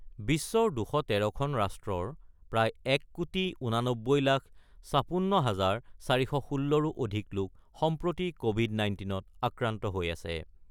বিশ্বৰ ২১৩ খন ৰাষ্ট্ৰৰ প্ৰায় ১ কোটি ৮৯ লাখ ৫৬ হাজাৰ ৪১৬ ৰো অধিক লোক সম্প্ৰতি কোৱিড-১৯ত আক্ৰান্ত হৈ আছে।